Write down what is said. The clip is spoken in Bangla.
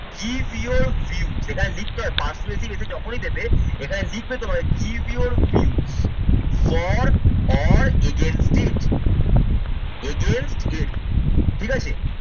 give your view এখানে লিখতে হবে persuasive essay যখনই দেবে এখানে লিখবে তোমাদের give your view for all ঠিকাছে।